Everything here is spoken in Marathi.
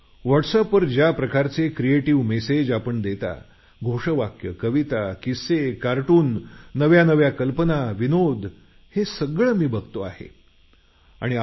व्हॉटसवरील मॅसेज किस्से नव्या नव्या कल्पना कविता घोषवाक्य हे सर्व मी वाचत असतो बघत असतो